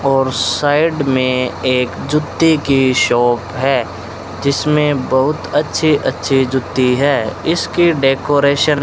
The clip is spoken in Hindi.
और साइड में एक जूते की शॉप है जिसमें बहुत अच्छे अच्छे जुती है इसके डेकोरेशन --